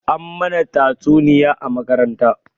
An mana tatsuniya a makaranta